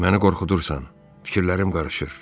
Məni qorxudursan, fikirlərim qarışır.